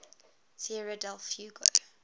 tierra del fuego